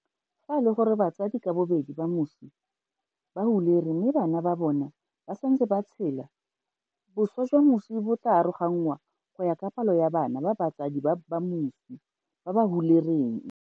Fa e le gore batsadi ka bobedi ba moswi ba hulere mme bana ba bona ba santse ba tshela, boswa jwa moswi bo tla aroganngwa go ya ka palo ya bana ba batsadi ba moswi ba ba hulereng.